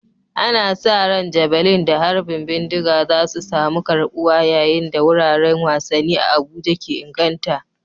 Ana sa ran Javelin da harbin bindiga za su samu karbuwa yayin da wuraren wasanni a Abuja ke inganta.